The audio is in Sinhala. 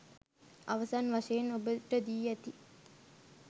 අවසන් වශයෙන් ඔබට දී ඇති